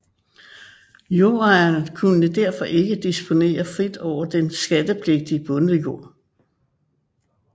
Jordejeren kunne derfor ikke disponere frit over den skattepligtige bondejord